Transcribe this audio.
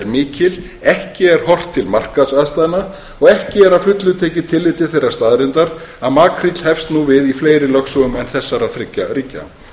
mikil ekki er horft til markaðsaðstæðna og ekki er að fullu tekið tillit til þeirrar staðreyndar að makríll hefst nú við í fleiri lögsögum en þessara þriggja ríkja